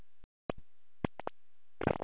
Ættum við að freista gæfunnar á sunnudaginn?